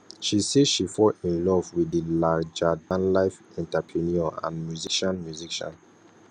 she say she fall in love with di largerdanlife entrepreneur and musician musician